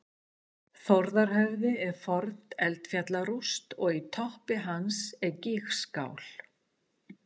þórðarhöfði er forn eldfjallarúst og í toppi hans er gígskál